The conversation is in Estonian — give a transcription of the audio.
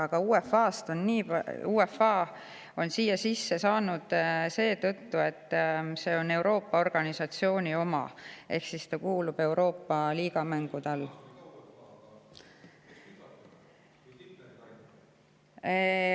Aga UEFA on siia sisse saanud seetõttu, et see on Euroopa organisatsiooni oma ehk siis see kuulub Euroopa liigamängude alla.